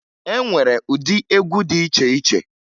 E nwere ụdị egwu dị iche iche